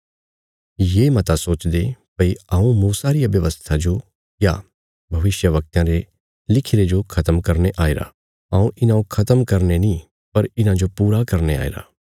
ये मता सोचदे भई हऊँ मूसा रिया व्यवस्था जो या भविष्यवक्तयां रे लिखिरे जो खत्म करने आईरा हऊँ इन्हौं खत्म करने नीं पर इन्हांजो पूरा करने आईरा